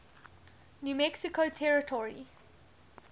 new mexico territory